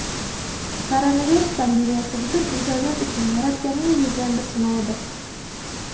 Koronavirus pandemiyasi butun insoniyat uchun Yaratganning bergan bir sinovidir.